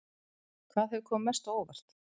Hvað hefur komið mest á óvart?